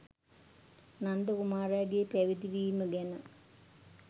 නන්ද කුමාරයාගේ පැවිදි වීම ගැන